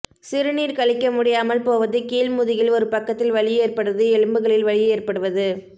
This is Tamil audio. சிறுநீர் கழிக்க முடியாமல் போவது கீழ் முதுகில் ஒரு பக்கத்தில் வலி ஏற்படுவது எலும்புகளில் வலி ஏற்படுவது